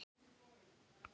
Og er það vel.